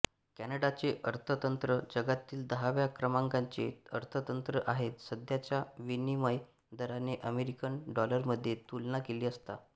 कॅनडाचे अर्थतंत्र जगातील दहाव्या क्रमांकाचे अर्थतंत्र आहे सध्याच्या विनिमय दराने अमेरिकन डॉलरमध्ये तुलना केली असता